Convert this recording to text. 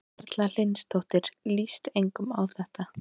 Erla Hlynsdóttir: Líst engum á þetta?